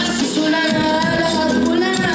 Qasım Ali, Haqq Ali.